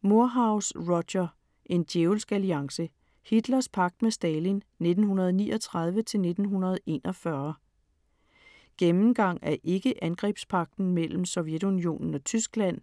Moorhouse, Roger: En djævelsk alliance: Hitlers pagt med Stalin 1939-1941 Gennemgang af ikke-angrebspagten mellem Sovjetunionen og Tyskland.